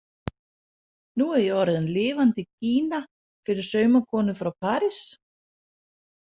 Nú er ég orðin lifandi gína fyrir saumakonu frá París.